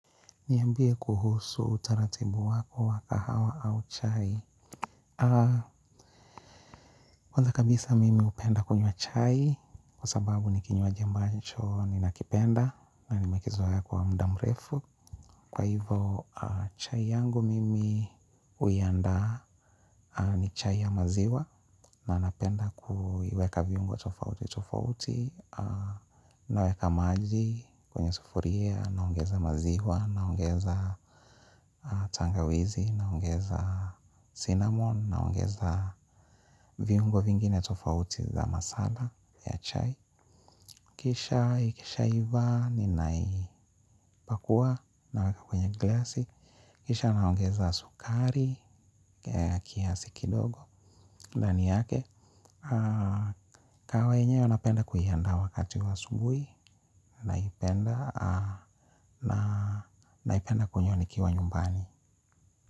Niyambie kuhusu utaratibu wako wakahawa au chai. Kwanza kabisa mimi upenda kunywa chai kuasababu nikinywaji ambancho ninakipenda na nimekizoaya kwa mdamrefu. Kwa hivo chai yangu mimi huiandaa ni chai ya maziwa nanapenda kuiweka viungo tofauti tofauti naweka maji, kwenye sufuria, naongeza maziwa, naongeza tangawizi, naongeza sinamon, naongeza viungo vingine tofauti za masala ya chai. Kisha ikisha iva ninaipakua naweka kwenye glass. Kisha naongeza sukari, kiasi kidogo ndani yake, kahawa yenyewe napenda kuiyanda wakati wa asubui. Naipenda kunyo nikiwa nyumbani.